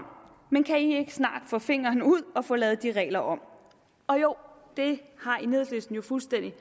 men kan i ikke snart få fingeren ud og få lavet de regler om og jo det har enhedslisten jo fuldstændig